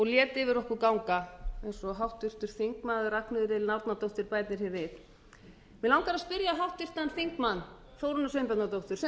lét yfir okkur ganga eins og háttvirtur þingmaður ragnheiður elín árnadóttir bætir hér við mig langar að spyrja háttvirtan þingmann þórunni sveinbjarnardóttur sem